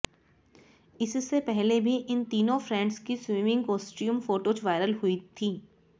इससे पहले भी इन तीनों फ्रेंड्स की स्विमिंग कॉस्ट्यूम फ़ोटोज़ वायरल हुई थीं